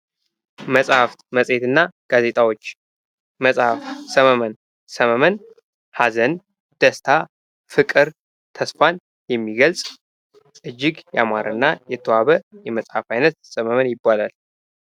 መጽሀፍት፣ መጽሄት እና ጋዜጣዎች፦ ሰመመን፦ ሰመመን ደስታ፣ ሀዘን፣ ፍቅር እና ተስፋን የሚገልጽ እጅግ ያማረ እና የተዋበ የመጽሀፍ አይነት ሰመመን ይባላል።